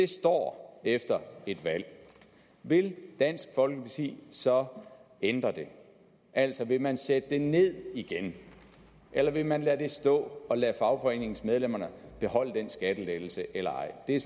står efter et valg vil dansk folkeparti så ændre det altså vil man sætte det ned igen eller vil man lade det stå og lade fagforeningsmedlemmer beholde den skattelettelse eller ej